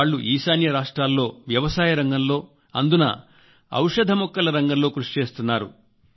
వాళ్లు ఈశాన్య రాష్ట్రాల్లో వ్యవసాయ రంగంలో అందునా ఔషధ మొక్కల రంగంలో కృషి చేస్తున్నారు